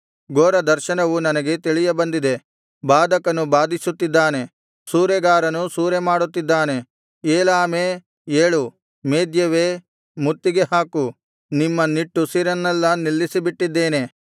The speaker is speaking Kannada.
ಘೋರದರ್ಶನವು ನನಗೆ ತಿಳಿಯ ಬಂದಿದೆ ಬಾಧಕನು ಬಾಧಿಸುತ್ತಿದ್ದಾನೆ ಸೂರೆಗಾರನು ಸೂರೆಮಾಡುತ್ತಿದ್ದಾನೆ ಏಲಾಮೇ ಏಳು ಮೇದ್ಯವೇ ಮುತ್ತಿಗೆ ಹಾಕು ನಿಮ್ಮ ನಿಟ್ಟುಸಿರನ್ನೆಲ್ಲಾ ನಿಲ್ಲಿಸಿಬಿಟ್ಟಿದ್ದೇನೆ